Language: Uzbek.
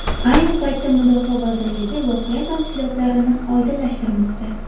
Ayni paytda mudofaa vazirligi voqea tafsilotlarini oydinlashtirmoqda.